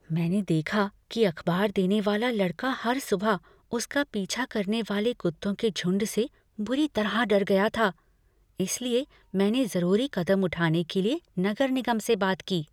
मैंने देखा कि अखबार देने वाला लड़का हर सुबह उसका पीछा करने वाले कुत्तों के झुंड से बुरी तरह डर गया था, इसलिए मैंने जरूरी कदम उठाने के लिए नगर निगम से बात की।